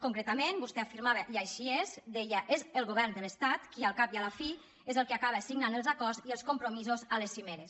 concretament vostè afirmava i així és deia és el govern de l’estat qui al cap i a la fi és el que acaba signant els acords i els compromisos a les cimeres